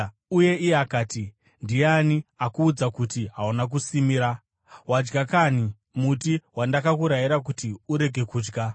Uye iye akati, “Ndiani akuudza kuti hauna kusimira? Wadya kanhi muti wandakakurayira kuti urege kudya?”